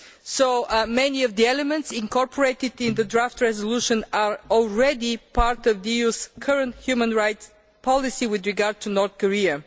So many of the elements incorporated in the motion for a resolution are already part of the EU's current human rights policy with regard to North Korea.